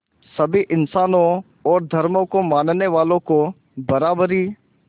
सभी इंसानों और धर्मों को मानने वालों को बराबरी